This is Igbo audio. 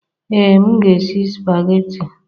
Ee, m na-esi spaghetti.